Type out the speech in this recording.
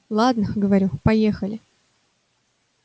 ладно говорю поехали